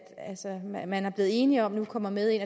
man man er blevet enige om nu kommer med ind